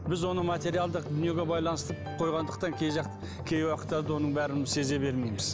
біз оны материалдық дүниеге байланыстырып қойғандықтан кей жақ кей уақыттарда оның бәрін сезе бермейміз